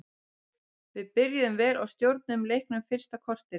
Við byrjuðum vel og stjórnuðum leiknum fyrsta korterið.